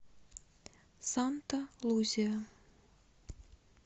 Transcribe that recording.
санта лузия